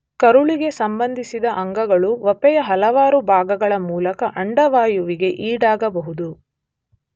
ಕರುಳಿಗೆ ಸಂಬಂಧಿಸಿದ ಅಂಗಗಳು ವಪೆಯ ಹಲವಾರು ಭಾಗಗಳ ಮೂಲಕ ಅಂಡವಾಯುವಿಗೆ ಈಡಾಗಬಹುದು.